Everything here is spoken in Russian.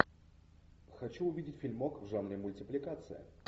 хочу увидеть фильмок в жанре мультипликация